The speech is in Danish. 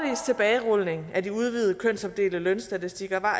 tilbagerulning af de udvidede kønsopdelte lønstatistikker var